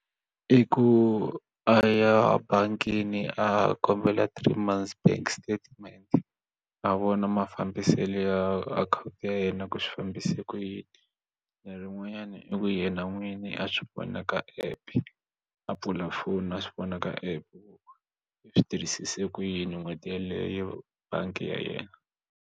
I ku a ya ebangini a kombela three months bank statement a vona mafambiselo ya akhawunti ya yena ku swi fambise ku yini lerin'wanyani i ku yena n'wini a swi vona ka app a pfula foni a swi vona ka app ku yi tirhisise ku yini n'hweti yeleyo bangi ya yena.